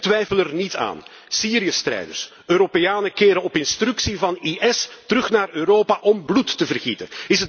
En twijfel er niet aan Syriëstrijders, Europeanen keren op instructie van IS terug naar Europa om bloed te vergieten.